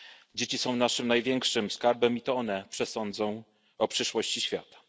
Dzieci są naszym największym skarbem i to one przesądzą o przyszłości świata.